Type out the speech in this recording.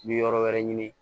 N mi yɔrɔ wɛrɛ ɲini